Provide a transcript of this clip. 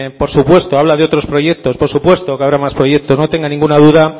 por supuesto habla de otros proyectos por supuesto que habrá más proyectos no tenga ninguna duda